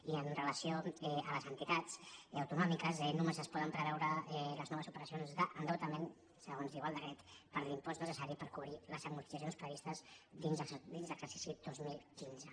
i amb relació a les entitats autonòmiques només es poden preveure les noves operacions d’en·deutament segons diu el decret per l’impost necessari per cobrir les amortitzacions previstes dins l’exercici dos mil quinze